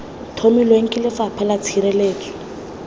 tlhomilweng ke lefapha la tshireletso